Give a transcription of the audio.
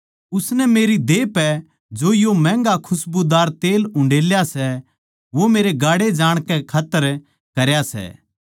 उसनै मेरी देह पै जो यो महँगा खसबूदार तेल उंडेला सै वो मेरे गाड़े जाणकै खात्तर करया सै